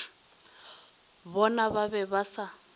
bona ba be ba sa